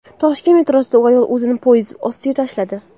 Toshkent metrosida ayol o‘zini poyezd ostiga tashladi.